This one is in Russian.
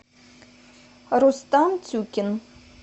рустам тюкин